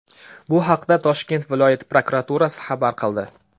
Bu haqda Toshkent viloyati prokuraturasi xabar qildi .